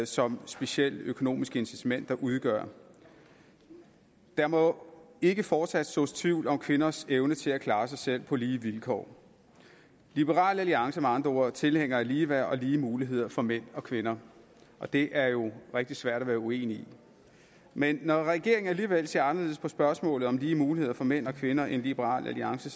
som specielt økonomiske incitamenter udgør der må ikke fortsat sås tvivl om kvinders evne til at klare sig selv på lige vilkår liberal alliance er med andre ord tilhængere af ligeværd og lige muligheder for mænd og kvinder og det er jo rigtig svært at være uenig i men når regeringen alligevel ser anderledes på spørgsmålet om lige muligheder for mænd og kvinder end liberal alliance